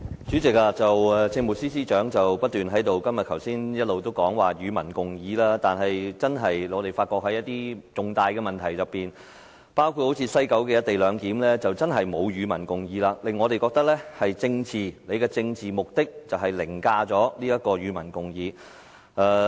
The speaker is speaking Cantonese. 主席，政務司司長剛才不斷提到"與民共議"，但在一些重大問題上，包括西九的"一地兩檢"安排，政府並沒有"與民共議"，令我們覺得政府的政治目的凌駕於"與民共議"。